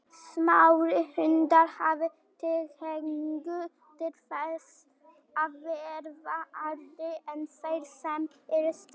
Smærri hundar hafa tilhneigingu til þess að verða eldri en þeir sem eru stærri.